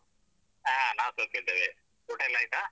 ಹ ನಾವು ಸೌಖ್ಯ ಇದ್ದೇವೆ ಊಟ ಎಲ್ಲ ಆಯ್ತಾ?